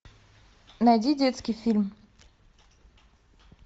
найди детский фильм